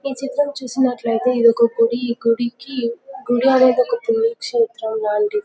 ఈ చిత్రమ్ చూసినట్టుయితే ఇది ఒక గుడి ఈ గుడికి గుడి అవతల --]